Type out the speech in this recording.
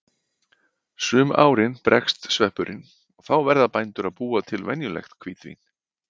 Sum árin bregst sveppurinn og þá verða bændur að búa til venjulegt hvítvín.